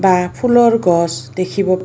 এপাহ ফুলৰ গছ দেখিব--